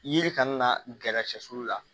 Yiri kana na gɛrɛ sɛsiw la